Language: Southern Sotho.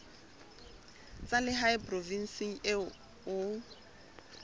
tsa lehae provinseng eo o